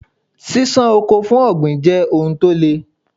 Ṣíṣán oko for ọ̀gbìn jẹ́ ohun tó le.